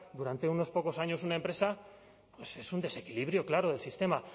durante unos pocos años una empresa pues es un desequilibrio claro del sistema